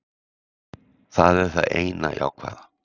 Það er það eina jákvæða.